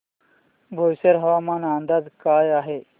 बोईसर हवामान अंदाज काय आहे